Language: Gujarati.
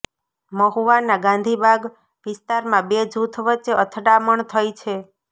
મહુવાના ગાંધીબાગ વિસ્તારમાં બે જૂથ વચ્ચે અથડામણ થઈ છે